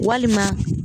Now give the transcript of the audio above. Walima